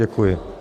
Děkuji.